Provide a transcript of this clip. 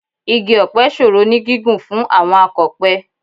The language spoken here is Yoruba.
Igi ọ̀pẹ ṣòro ní gígùn fún àwọn akọ̀pẹ